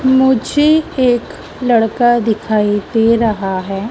मुझे एक लड़का दिखाई दे रहा है।